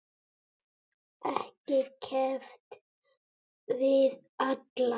Ekki keppt við alla?